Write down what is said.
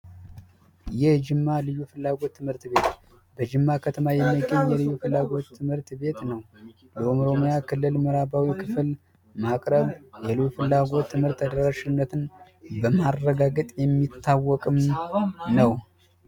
የጅማ ልዩ ፍላጎት ትምህርት ቤት ተሸማ ከተማ ፍላጎት ትምህርት ቤት ነው ክልል ምዕከላዊ ክፍል ማቅረብ የሉም ፍላጎት ትምህርት ተደራሽነትን በማረጋገጥ የሚታወቅም ነው።